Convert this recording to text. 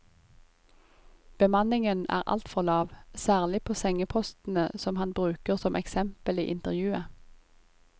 Bemanningen er altfor lav, særlig på sengepostene som han bruker som eksempel i intervjuet.